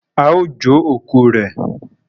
ao jo òkú rẹ.